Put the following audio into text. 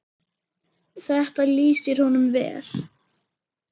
Þetta lýsir honum vel.